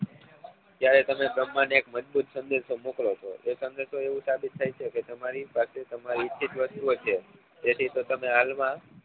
ત્યારે તમે ભ્રમ્હાં ને એક મજબુત સંદેશો મોકલો છો એ સંદેશો એ સાબિત થાય છે કે તમારી પાસે તમરી ઈચ્છિત વસ્તુઓ છે તેથી તો તમે હાલ માં